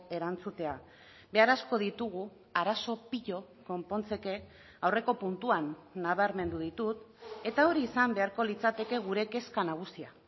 erantzutea behar asko ditugu arazo pilo konpontzeke aurreko puntuan nabarmendu ditut eta hori izan beharko litzateke gure kezka nagusia